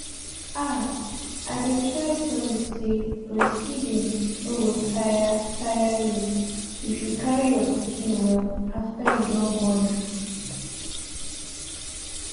ah i dey try tell you say breastfeeding no go tire tire you if you carry your pikin well after you don born am